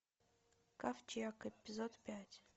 ковчег эпизод пять